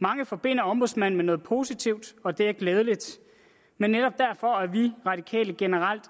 mange forbinder ombudsmanden med noget positivt og det er glædeligt men netop derfor er vi radikale generelt